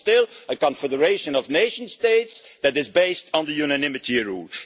We are still a confederation of nation states that is based on the unanimity rule.